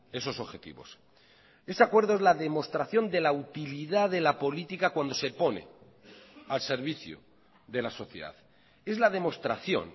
esos objetivos ese acuerdo es la demostración de la utilidad de la política cuando se pone al servicio de la sociedad es la demostración